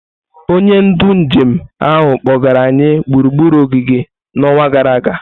Onye ndu njem ahụ kpọgara anyị gburugburu ogige n'ọnwa gara aga.